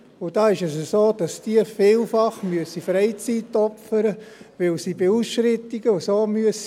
Und da ist es so, dass sie vielfach Freizeit opfern müssen, weil sie bei Ausschreitungen und so antreten müssen.